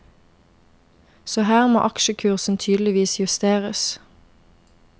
Så her må aksjekursen tydeligvis justeres.